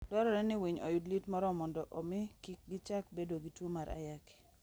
Dwarore ni winy oyud liet moromo mondo omi kik gichak bedo gi tuwo mar ayaki.